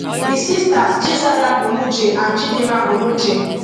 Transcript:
di sisters chizaram onuche and chidinma onuche